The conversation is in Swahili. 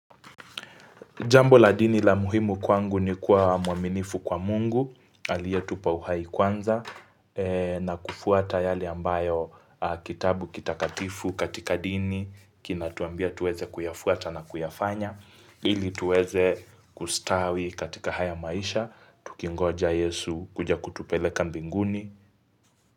Jambo la dini la muhimu kwangu ni kuwa wa mwaminifu kwa Mungu, aliyetupa uhai kwanza, na kufuata yale ambayo kitabu kitakatifu katika dini, kinatuambia tuweze kuyafuata na kuyafanya, ili tuweze kustawi katika haya maisha, tukingoja Yesu, kuja kutupeleka mbinguni.